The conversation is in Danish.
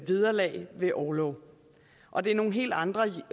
vederlag ved orlov og det er nogle helt andre